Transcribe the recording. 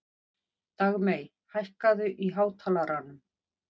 Dagmey, hækkaðu í hátalaranum.